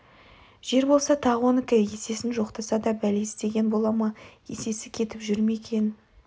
жер болса тағы онікі есесін жоқтаса да бәле іздеген бола ма есесі кетіп жүр ме екен